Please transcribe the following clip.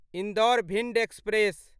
Indore Bhind express